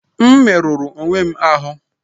M merụrụ onwe m ahụ́